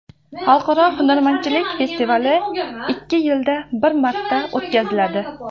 Xalqaro hunarmandchilik festivali ikki yilda bir marta o‘tkaziladi.